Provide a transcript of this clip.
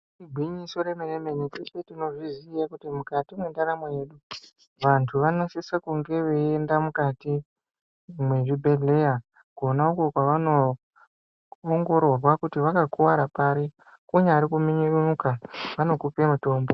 Igwinyiso remenemene teshe tinozviziya kuti mukati mwendaramo yedu vandu vanosisa kunge veienda mukati mezvibhedhlera kona uko kwavanoongororwa kuti vakakuwara pari kunyari kuminyuka vanokupa mutombo.